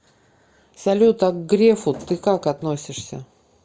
салют а к грефу ты как относишься